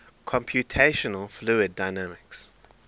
computational fluid dynamics